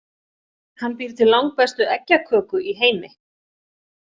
Hann býr til langbestu eggjaköku í heimi.